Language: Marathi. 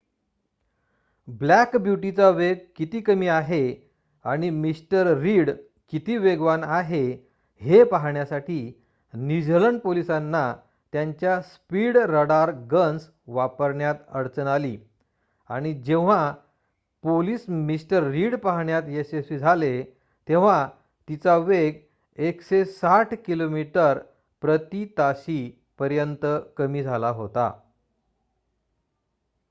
ब्लॅक ब्यूटीचा वेग किती कमी आहे आणि मिस्टर रीड किती वेगवान आहे हे पाहण्यासाठी न्यूझीलंड पोलिसांना त्यांच्या स्पीड रडार गन्स वापरण्यात अडचण आली आणि जेव्हा पोलिस मिस्टर रीडला पाहण्यात यशस्वी झाले तेव्हा तिचा वेग 160 किमी/ताशी पर्यंत कमी झाला होता